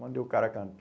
Mandei o cara